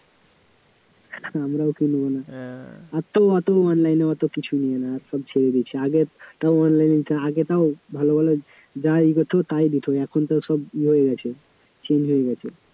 আমরাও কিনব না, আর তো অত online এ অত কিছু ইয়ে না সব ছেড়ে দিয়েছি আগে তাও online এ যা~ আগে তাও ভালো ভালো যাই দিত তাই দিত এখন তো সব ই হয়ে গেছে change হয়ে গেছে